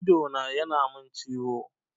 Idona ya na min ciwo